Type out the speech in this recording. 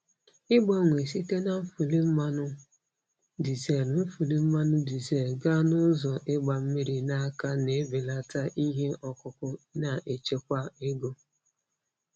Ịgbanwe site na nfuli mmanụ dizel nfuli mmanụ dizel gaa na ụzọ ịgba mmiri n'aka na-ebelata ihe ọkụkụ na-echekwa ego.